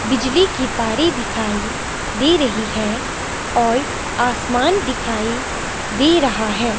बिजली की तारें दिखाई दे रही है और आसमान दिखाई दे रहा है।